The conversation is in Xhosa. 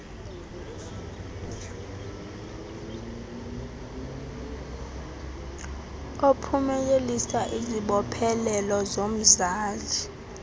ophumelelisa izibophelelo zomzali